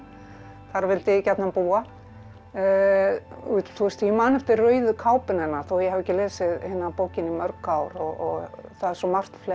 þar vildi ég gjarnan búa ég man eftir rauðu kápunni hennar þó ég hafi ekki lesið bókina í mörg ár það er svo margt fleira